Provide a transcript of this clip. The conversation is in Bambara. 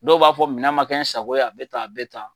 Dɔw b'a fɔ minɛ ma kɛ n sago ye a bɛ tan a bɛ taan.